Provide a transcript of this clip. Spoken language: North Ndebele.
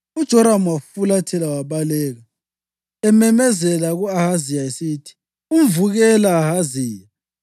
UJoramu wafulathela wabaleka, ememezela ku-Ahaziya esithi, “Umvukela, Ahaziya!”